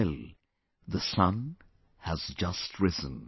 Well, the sun has just risen